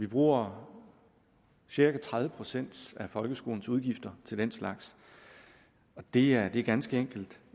bruger cirka tredive procent af folkeskolens udgifter til den slags og det er ganske enkelt